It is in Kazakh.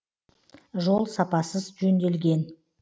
жол сапасыз жөнделген